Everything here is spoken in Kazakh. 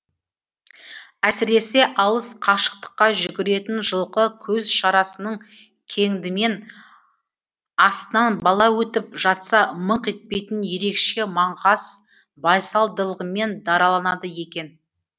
әсіресе алыс қашықтыққа жүгіретін жылқы көз шарасының кеңдімен астынан бала өтіп жатса мыңқ етпейтін ерекше маңғаз байсалдылығымен дараланады екен